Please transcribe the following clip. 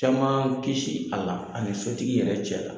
Caman kisi a la, ani sotigi yɛrɛ cɛ la.